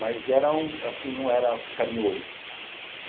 Mas era um, assim, não era carinhoso.